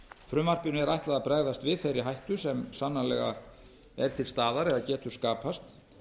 frumvarpinu er ætlað að bregðast við þeirri hættu sem sannarlega er til staðar eða getur skapast